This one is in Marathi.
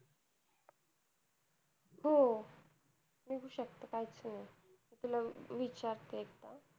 हो निघू शकत काहीच problem नाही. तिला विचारते एकदा.